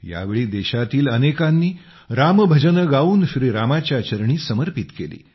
यावेळी देशातील अनेकांनी राम भजने गाउन श्री रामाच्या चरणी समर्पित केली